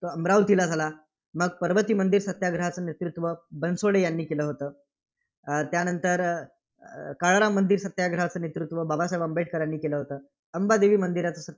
तो अमरावतीला झाला. मग पर्वती मंदिर सत्याग्रहाचं नेतृत्व बनसोडे यांनी केलं होतं. अं त्यानंतर अं काळाराम मंदिर सत्याग्रहाचं नेतृत्व बाबासाहेब आंबेडकर यांनी केलं होतं. अंबादेवी मंदिर